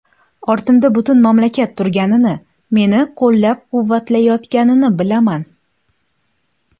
Ortimda butun mamlakat turganini, meni qo‘llab-quvvatlayotganini bilaman.